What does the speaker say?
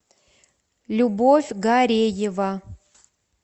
любовь гареева